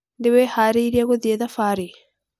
Nĩwĩharĩirie gũthiĩ thabarĩ?